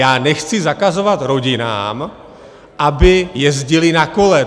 Já nechci zakazovat rodinám, aby jezdily na kole.